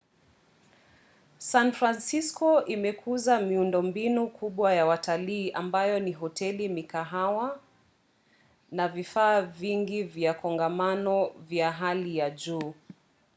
san francisko imekuza miundombinu kubwa ya watalii ambayo ni hoteli mikahawa na vifaa vingi vya kongamano vya hali ya juu